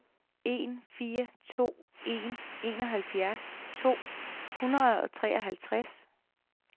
en fire to en enoghalvfjerds to hundrede og treoghalvtreds